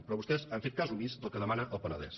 però vostès han fet cas omís del que demana el penedès